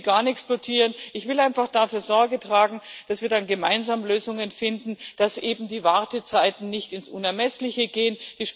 Ich will gar nichts blockieren, ich will einfach dafür Sorge tragen, dass wir dann gemeinsam Lösungen finden, dass eben die Wartezeiten nicht ins Unermessliche gehen.